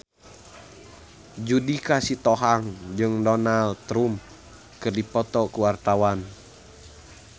Judika Sitohang jeung Donald Trump keur dipoto ku wartawan